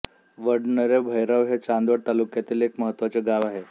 वडनेर भैरव हे चांदवड तालुक्यातील एक महत्त्वाचे गाव आहे